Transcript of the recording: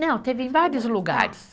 Não, teve em vários lugares.